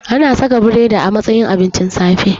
Ana cikin biredi a matsayin abincin safe